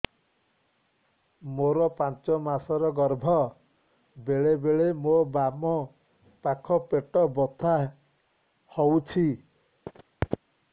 ମୋର ପାଞ୍ଚ ମାସ ର ଗର୍ଭ ବେଳେ ବେଳେ ମୋ ବାମ ପାଖ ପେଟ ବଥା ହଉଛି